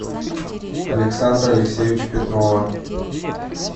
александра алексеевича петрова